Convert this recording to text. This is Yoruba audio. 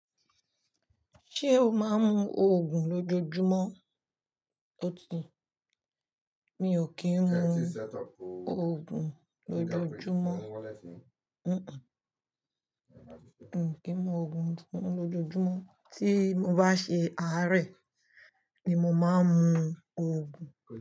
Ṣé o máa ń mu Ògùn lójoójúmọ́? Ó ti, mi ò kí ń mu Ògùn lójoójúmọ́. Kì í mu Ògùn lójoójúmọ́, tí mo bá ṣe àárẹ̀ ni mo máa ń mu Ògùn.